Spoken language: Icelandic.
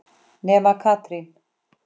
Nema Katrín.